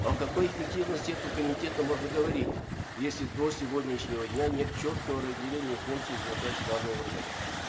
о какой эффективности этого комитета можно говорить если до сегодняшнего дня нет четкого разделения функций и задач данного органа